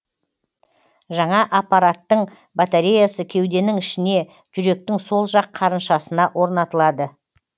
жаңа аппараттың батареясы кеуденің ішіне жүректің сол жақ қарыншасына орнатылады